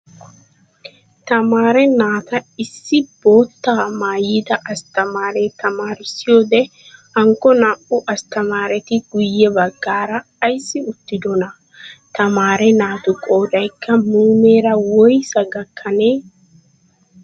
Tamaare naata issi bootta maayida asttamaare tamaarissiyoode hankko naa''u asttamaareti guyye baggaara ayissi uttidonaa? Tmaare naatu qoodayikka muumeera woyisaa gakkanee?